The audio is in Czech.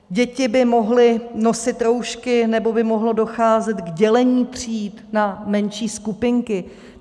Děti by mohly nosit roušky, nebo by mohlo docházet k dělení tříd na menší skupinky.